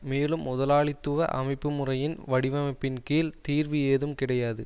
மேலும் முதலாளித்துவ அமைப்பு முறையின் வடிவமைப்பின் கீழ் தீர்வு ஏதும் கிடையாது